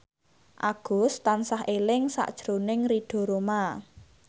Agus tansah eling sakjroning Ridho Roma